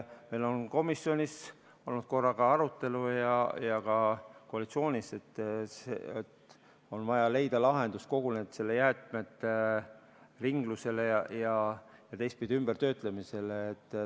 " Meil on komisjonis olnud arutelu ja ka koalitsioonis, et on vaja leida lahendus kogu jäätmeringlusele ja teistpidi ka ümbertöötamisele.